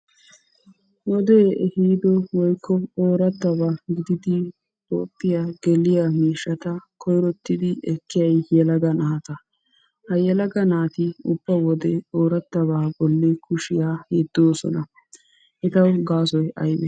Wode ehiiddo woykko ooratabaa gididi ootiya geliya miishshata koyrottidi ekkiyay yelaga naata ha yelaga naati ubba wode oorattabaa bolla kushiya yeddoosona. Hagawu gaasoy aybee?